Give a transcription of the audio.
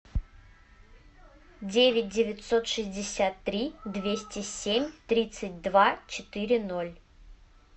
девять девятьсот шестьдесят три двести семь тридцать два четыре ноль